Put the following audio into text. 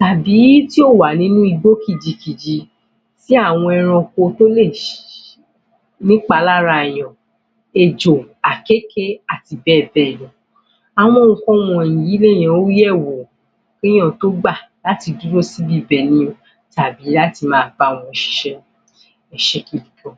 tàbí tí ò wà nínú igbó kìjikìji tí àwọn ẹranko tó lè ní ìpalára èèyàn, ejò, akeke, àti bẹ́ẹ̀ bẹ́ẹ̀ lọ àwọn nǹkan wọ̀nyí ni èèyàn ń yẹ̀ wò kí èèyàn tó gbà láti dúró sí ibi ibẹ̀ yẹn tàbií láti máa bá wọn ṣiṣẹ́. ẹ ṣe púpọ̀